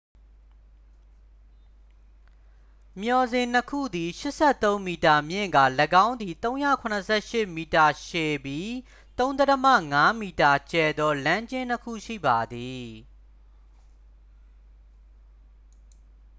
မျှော်စင်နှစ်ခုသည် 83 မီတာမြင့်ကာ ၎င်းသည် 378 မီတာရှည်ပြီး 3.50 m ကျယ်သော လမ်းကျဉ်းနှစ်ခုရှိပါသည်